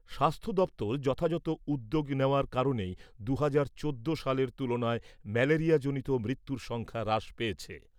স্বাস্থ্য দপ্তর যথাযথ উদ্যোগ নেওয়ার কারণেই দু'হাজার চোদ্দো সালের তুলনায় ম্যালেরিয়াজনিত মৃত্যুর সংখ্যা হ্রাস পেয়েছে।